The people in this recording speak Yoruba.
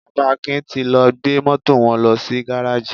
Bàbá Akin ti lọ gbé Mọ́tò wọn lọ sí gáráàjì.